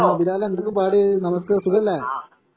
ആ ബിലാലെ എന്തൊക്കെ പാട് സുഖല്ലേ